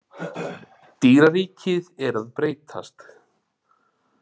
Dýraríkið er að breytast